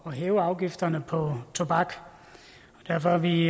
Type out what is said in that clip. at hæve afgifterne på tobak og derfor er vi